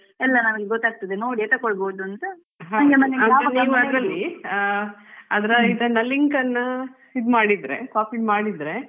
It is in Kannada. ಎಲ್ಲ ನಮ್ಗೆ ಗೊತ್ತಾಗ್ತದೆ ನೋಡಿಯೇ ತಕ್ಕೊಳ್ಬಹದು ಅಂತ